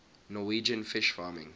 norwegian fish farming